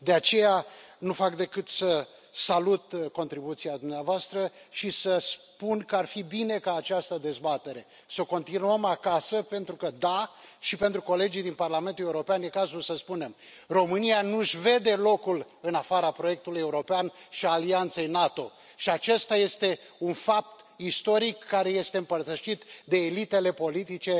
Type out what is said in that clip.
De aceea, nu fac decât să salut contribuția dumneavoastră și să spun că ar fi bine ca această dezbatere să o continuăm acasă pentru că da, și pentru colegii din Parlamentul European e cazul să spunem România nu își vede locul în afara proiectului european și al alianței NATO și acesta este un fapt istoric, care este împărtășit de elitele politice,